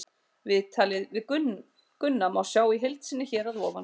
Viðtalið við Gunna má sjá í heild sinni hér að ofan.